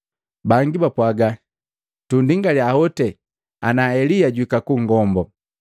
Bangi bapwaaga, “Tunndolake hoti ana Elia juhika kugombo.”